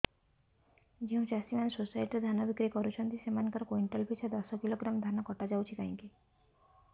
ଯେଉଁ ଚାଷୀ ମାନେ ସୋସାଇଟି ରେ ଧାନ ବିକ୍ରି କରୁଛନ୍ତି ସେମାନଙ୍କର କୁଇଣ୍ଟାଲ ପିଛା ଦଶ କିଲୋଗ୍ରାମ ଧାନ କଟା ଯାଉଛି କାହିଁକି